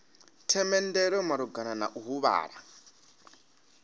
themendelo malugana na u huvhala